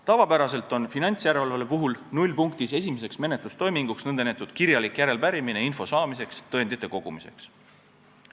Tavapäraselt on finantsjärelevalve puhul nullpunktis esimene menetlustoiming nn kirjalik järelepärimine info saamiseks, tõendite kogumiseks.